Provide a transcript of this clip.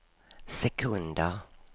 sekunder